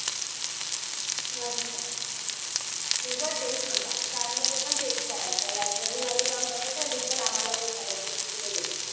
मस्त. तुझं तेच होता. शाळेमध्ये पण तेच करायचा. Library मध्ये जाऊन बसायचा आणि teacher आम्हाला विचारायचे की कुठे गेला?